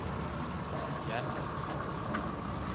gjennom